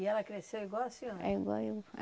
E ela cresceu igual a senhora? É, igual eu